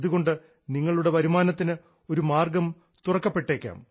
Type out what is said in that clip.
ഇതുകൊണ്ട് നിങ്ങളുടെ വരുമാനത്തിന് ഒരു മാർഗ്ഗം തുറക്കപ്പെട്ടേക്കാം